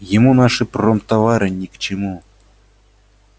ему наши промтовары ни к чему